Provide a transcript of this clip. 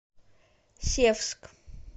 севск